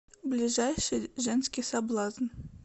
ближайший женский соблазн